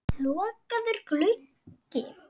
Lokaður gluggi.